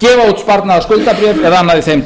gefa út sparnaðarskuldabréf eða annað í þeim